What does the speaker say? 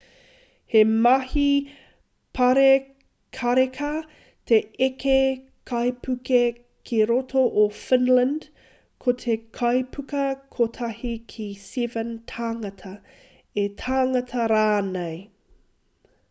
he mahi pārekareka te eke kaipuke ki roto o finland ko te kaipuka kotahi ki 7 tāngata 8 tāngata rānei